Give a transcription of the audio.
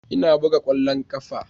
Ina buga kwallon kafa.